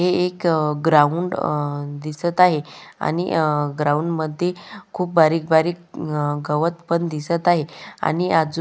हे एक अ ग्राउंड अ दिसत आहे आणि अ ग्राउंड मध्ये खुप बारिक बारिक अ गवत पण दिसत आहे आणि आजु --